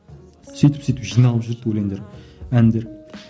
сөйтіп сөйтіп жиналып жүрді өлеңдер әндер